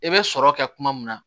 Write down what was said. I bɛ sɔrɔ kɛ kuma min na